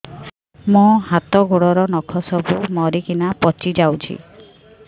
ମୋ ହାତ ଗୋଡର ନଖ ସବୁ ମରିକିନା ପଚି ଯାଉଛି